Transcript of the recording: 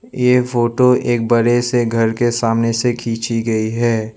यह फोटो एक बड़े से घर के सामने से खींची गई है।